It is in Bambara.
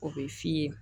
O bɛ f'i ye